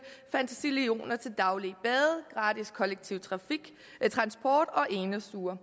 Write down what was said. fantasillioner til daglige bade gratis kollektiv transport og enestuer